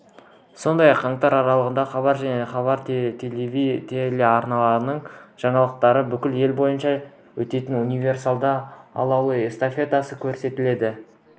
сондай-ақ қаңтар аралығында хабар және хабар телеарналарының жаңалықтарынан бүкіл ел бойынша өтетін универсиада алауы эстафетасы көрсетіледі